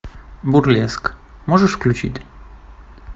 бурлеск можешь включить